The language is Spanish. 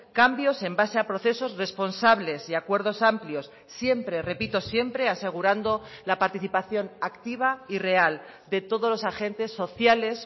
cambios en base a procesos responsables y acuerdos amplios siempre repito siempre asegurando la participación activa y real de todos los agentes sociales